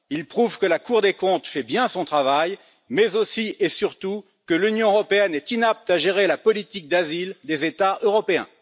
Ils prouvent que la Cour des comptes fait bien son travail, mais aussi et surtout, que l'Union européenne est inapte à gérer la politique d'asile des États européens.